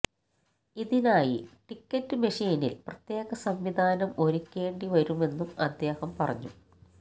ഇതിനായി ടിക്കറ്റ് മെഷീനില് പ്രത്യേക സംവിധാനം ഒരുക്കേണ്ടിവരുമെന്നും അദ്ദേഹം പറഞ്ഞു